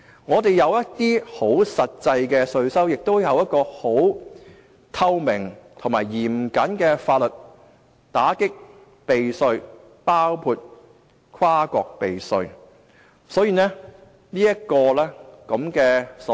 我們有一些實際稅收，亦有一套透明及嚴謹的法律來打擊避稅，包括跨國避稅。